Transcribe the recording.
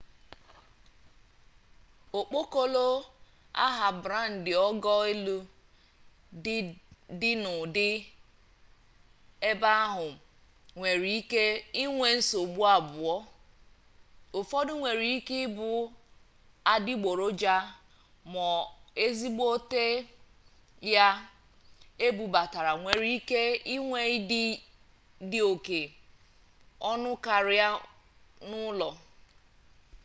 okpokolo aha-brandi ogo-elu dị dị n'ụdị ebe ahụ nwere ike inwe nsogbu abụọ ụfọdụ nwere ike ịbụ adịgboroja ma ezigbo ya ebubatara nwere ike inwe ịdị dị oke ọnụ karịa n'ụlọ